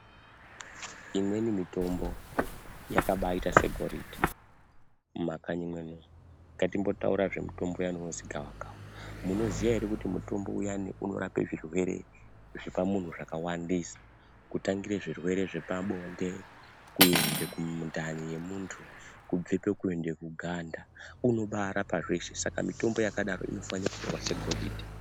Imweni mitombo yakabaiya segoridhe mumakanyi muno ngatimbotaura zvemutombo uyani inozi gawa kawa munoiziya ere kuti mitombo uyani unorape zvirwere zvepamunhu zvakawandisa kutangire zvirwere zvepabonde kuende kundani yemuntu kubvepo kuende paganda inobarapa zveshe saka mitombo yakadaro inofana kutorwa segoridhe.